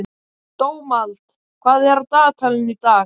Dómald, hvað er á dagatalinu í dag?